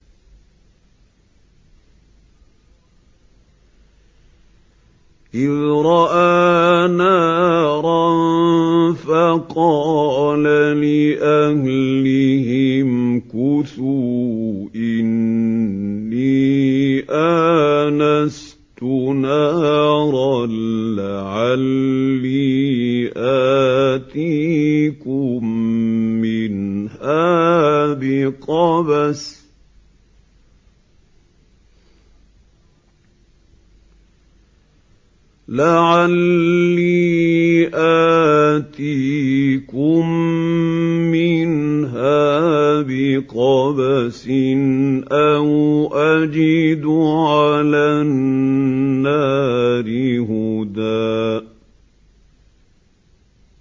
إِذْ رَأَىٰ نَارًا فَقَالَ لِأَهْلِهِ امْكُثُوا إِنِّي آنَسْتُ نَارًا لَّعَلِّي آتِيكُم مِّنْهَا بِقَبَسٍ أَوْ أَجِدُ عَلَى النَّارِ هُدًى